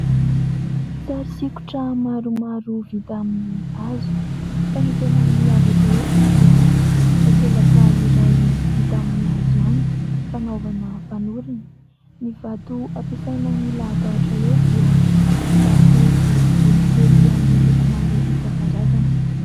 Sary sokitra maromaro vita amin'ny hazo, fa ny tena miavaka eto dia takelaka iray vita amin'ny hazo ihany, fanaovana fanorona. Ny vato ampiasaina milahadahatra eo dia vato boribory kely amin'ny loko maro isankarazany.